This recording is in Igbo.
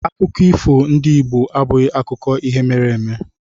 Akụkọ ifo ndị Igbo abụghị akụkọ ihe mere eme